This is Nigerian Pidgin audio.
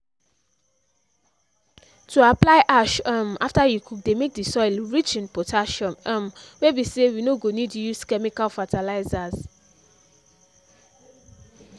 to apply ash um after you cook dey make the soil rich in potassium um wey be say we no go need use chemical fertilizers